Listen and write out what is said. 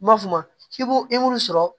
M'a f'o ma i b'u sɔrɔ